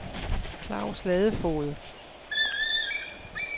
Claus Ladefoged